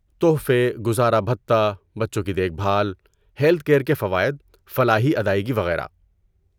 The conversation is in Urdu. تحفے، گزارا بھتہ، بچوں کی دیکھ بھال، ہیلتھ کیر کے فوائد، فلاحی ادائیگی وغیرہ۔